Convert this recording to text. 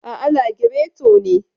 Aa, lagireto ne.